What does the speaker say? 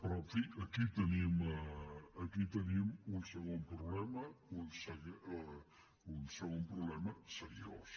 però en fi aquí tenim un segon problema un segon problema seriós